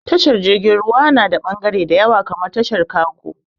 Tashar jirgin ruwa na da bagare da yawa kamar tashar kago